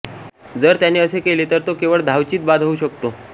जर त्याने असे केले तर तो केवळ धावचीत बाद होऊ शकतो